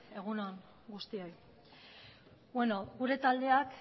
egun on guztioi gure taldeak